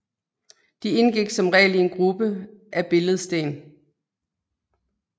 De indgik som regel i en gruppe af billedsten